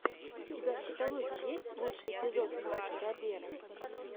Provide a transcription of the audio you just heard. у тебя в каталоге есть лучший эпизод марка робера